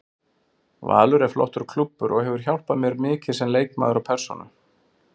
Valur er flottur klúbbur og hefur hjálpað mér mikið sem leikmaður og persónu.